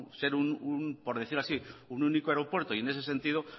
ser un por decir así un único aeropuerto y en ese sentido